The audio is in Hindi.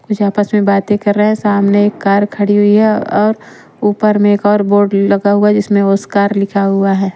कुछ आपस में बातें कर रहे हैं। सामने एक कार खड़ी हुई है और ऊपर में एक और बोर्ड लगा हुआ जिसमें वो स्कार लिखा हुआ है।